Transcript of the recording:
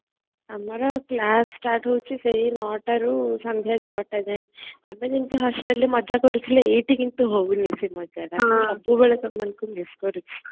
ଆମର class start ହାଉଛି ସେ 9 ଟା ରୁ ସନ୍ଧ୍ୟା 6 ଟା ଯାଏ ଆମେ ଯେମିତି hostelରେ ମଜା କରୁଥିଲେ ଏଇଠି କିନ୍ତୁ ହାଉଣୀ ସେ ମଜାଟା ମୁଁ ସବୁବେଳେ ତମମାନକୁ miss କରୁଛି